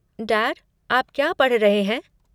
Dad आप क्या पढ़ रहे हैं?